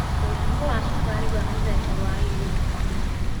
Mũrimũ wa cukari wa mũthemba wa 2 ndũhonagwo.